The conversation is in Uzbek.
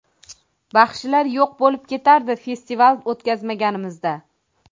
Baxshilar yo‘q bo‘lib ketardi festival o‘tkazmaganimizda.